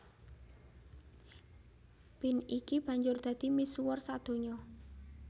Bean iki banjur dadi misuwur sadonya